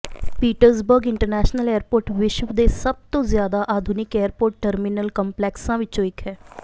Pittsburgh international airport ਵਿਸ਼ਵ ਦੇ ਸਭ ਤੋਂ ਜ਼ਿਆਦਾ ਆਧੁਨਿਕ ਏਅਰਪੋਰਟ ਟਰਮੀਨਲ ਕੰਪਲੈਕਸਾਂ ਵਿੱਚੋਂ ਇੱਕ ਹੈ